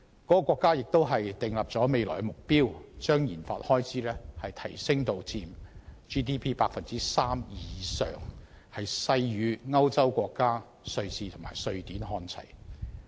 該國亦已訂定未來目標，把研發開支提升至佔 GDP 的 3% 以上，勢與歐洲國家瑞士和瑞典看齊。